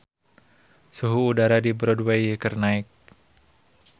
Suhu udara di Broadway keur naek